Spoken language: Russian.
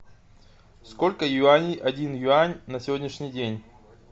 сколько юаней один юань на сегодняшний день